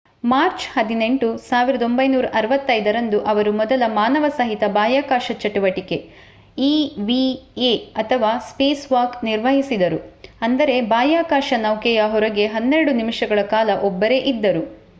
March 18 1965 ರಂದು ಅವರು ಮೊದಲ ಮಾನವಸಹಿತ ಬಾಹ್ಯಾಕಾಶ ಚಟುವಟಿಕೆ ಇವಿಎ ಅಥವಾ ಸ್ಪೇಸ್‌ವಾಕ್ ನಿರ್ವಹಿಸಿದರು ಅಂದರೆ ಬಾಹ್ಯಾಕಾಶ ನೌಕೆಯ ಹೊರಗೆ ಹನ್ನೆರಡು ನಿಮಿಷಗಳ ಕಾಲ ಒಬ್ಬರೇ ಇದ್ದರು